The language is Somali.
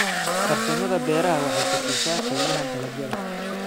Farsamada beeruhu waxay kordhisaa qiimaha dalagyada.